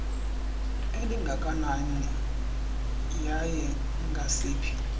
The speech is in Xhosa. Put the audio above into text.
elingakanani yaye ngasiphi